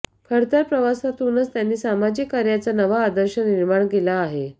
खडतर प्रवासातूनच त्यांनी सामाजिक कार्याचा नवा आदर्श निर्माण केला आहे